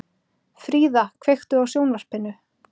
Fríða, kveiktu á sjónvarpinu.